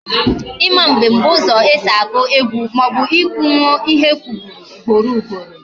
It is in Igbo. Ima mbem bụ ụzọ esi agụ egwu maọbụ ị kwunwo ihe e kwuburu ugboro ugboro